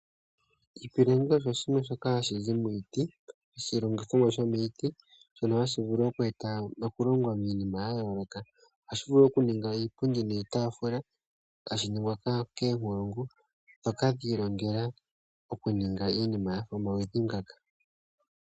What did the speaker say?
Oshipilangi osho shimwe shoka hashizi miiti shomiiti oshilongithomwa shono hashi vulu oku longwa iinima ya yooloka. Ohashi vulu okuninga iipundi niitafula hashi ningwa koonkulungu ndhoka dhi ilongela okuninga iinima yomaludhi ngoka.